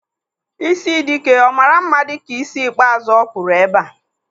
Ịsị Dike ọ maara mma dịka ísí ikpeazụ ọ kpụrụ ebe a?